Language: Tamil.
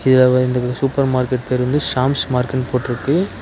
இதுல வந்து சூப்பர் மார்க்கெட் தெரியுது சாம்ஸ் மார்க்கெட்னு போட்ருக்கு.